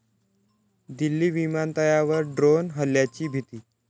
दिल्ली विमानतळावर ड्रोन हल्ल्याची भीती